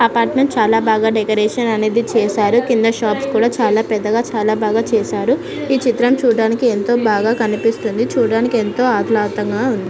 Apartment ని చాల బాగా డెకొరేషన్ చేసారు. కింద షాప్స్ కూడా పెద్దగా చాల బాగా చేసారు. ఈ చిత్రం చూడధాని చాలా బాగా కనిపిస్తుంది. చూడడానికి ఎంతో ఆహ్లాదకరంగా ఉంది.